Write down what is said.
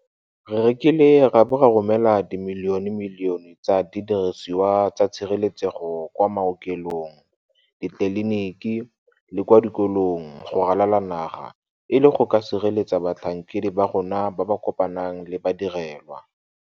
Re rekile ra bo ra romela dimilionemilione tsa didirisiwa tsa tshireletsego kwa maokelong, ditleliniki le kwa dikolong go ralala le naga e le go ka sireletsa batlhankedi ba rona ba ba kopanang le badirelwa.